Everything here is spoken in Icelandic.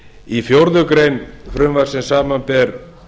í fjórða grein frumvarpsins samanber